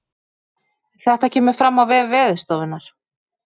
Þetta kemur fram á vef veðurstofunnar